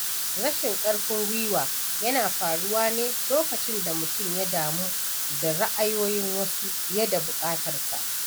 Rashin karfin gwiwa yana faruwa ne lokacin da mutum ya damu da ra’ayoyin wasu fiye da buƙatarsa.